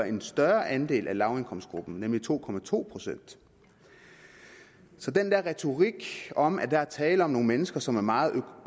en større andel af lavindkomstgruppen nemlig to to procent så den der retorik om at der er tale om nogle mennesker som er meget